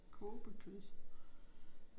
Kobekød